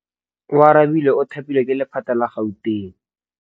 Oarabile o thapilwe ke lephata la Gauteng.